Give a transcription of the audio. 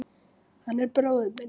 Hann er bróðir minn.